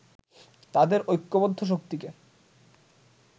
তাদের ঐক্যবদ্ধ শক্তিকে